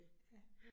Ja